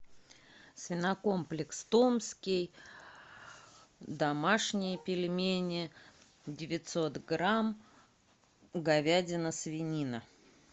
свинокомплекс томский домашние пельмени девятьсот грамм говядина свинина